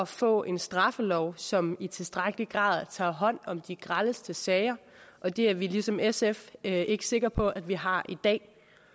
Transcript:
få en straffelov som i tilstrækkelig grad tager hånd om de grelleste sager og det er vi ligesom sf ikke ikke sikre på at vi har i dag